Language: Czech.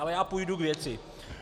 Ale já půjdu k věci.